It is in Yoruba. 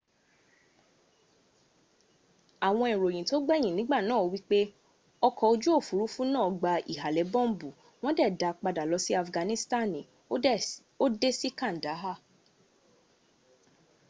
awon iroyin to gbeyin nigba naa wipe oko oju ofurufu naa gba ihale bombu won de daa pada lo si afganistani o de si kandaha